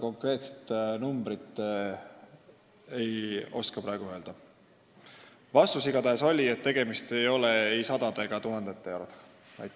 Konkreetset numbrit ei oska praegu öelda, aga vastus oli igatahes selline, et tegemist ei ole ei sadade ega tuhandete eurodega.